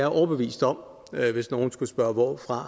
overbevist om hvis nogen skulle spørge hvorfra